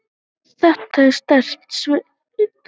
Þetta er sterk sveit.